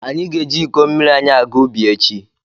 Anyị ga-eji iko mmiri anyị aga ubi echi.